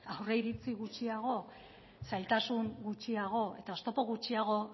aurreiritzi gutxiago zailtasun gutxiago eta oztopo gutxiago